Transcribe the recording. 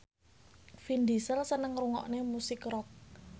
Vin Diesel seneng ngrungokne musik rock